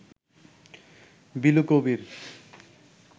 Bilu Kabir